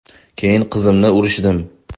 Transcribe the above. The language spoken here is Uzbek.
Keyin qizimni urishdim.